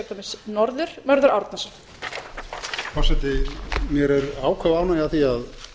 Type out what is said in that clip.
forseti mér er áköf ánægja af því að